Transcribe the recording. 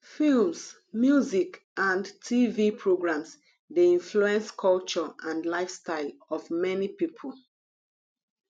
films music and tv programs dey influence culture and lifestyle of many people